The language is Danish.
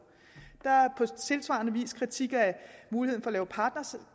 tilsvarende vis kritik af muligheden for